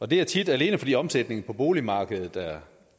det er tit alene fordi omsætningen på boligmarkedet er